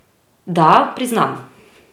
Da, priznam.